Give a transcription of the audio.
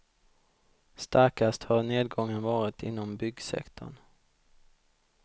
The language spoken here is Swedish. Starkast har nedgången varit inom byggsektorn.